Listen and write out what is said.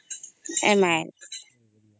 M I law